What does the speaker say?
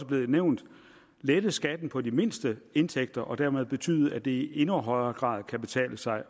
været nævnt lette skatten på de mindste indtægter og dermed betyde at det i endnu højere grad kan betale sig